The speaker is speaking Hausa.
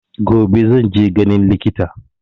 Gobe zan je ganin likita.